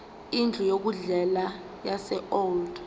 indlu yokudlela yaseold